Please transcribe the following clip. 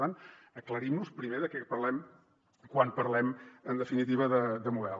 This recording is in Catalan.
per tant aclarim nos primer de què parlem quan parlem en definitiva de model